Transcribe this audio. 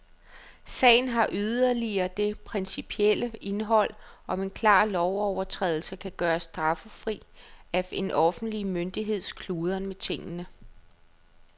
Sagen har yderligere det principielle indhold, om en klar lovovertrædelse kan gøres straffri af en offentlig myndigheds kludren med tingene.